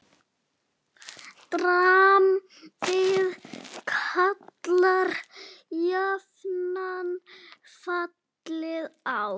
Drambið kallar jafnan fallið á.